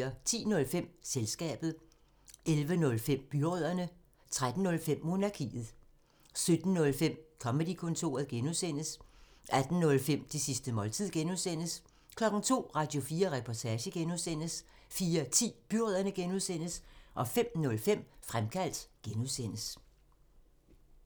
10:05: Selskabet 11:05: Byrødderne 13:05: Monarkiet 17:05: Comedy-kontoret (G) 18:05: Det sidste måltid (G) 02:00: Radio4 Reportage (G) 04:10: Byrødderne (G) 05:05: Fremkaldt (G)